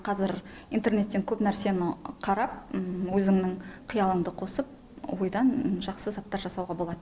қазір интернеттен көп нәрсені қарап өзіңнің қиялыңды қосып ойдан жақсы заттар жасауға болады